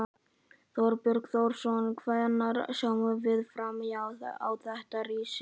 Þorbjörn Þórðarson: Hvenær sjáum við fram á þetta rísi?